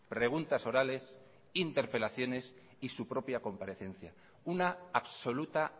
preguntas orales interpelaciones y su propia comparecencia una absoluta